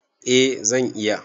Eh zan iya.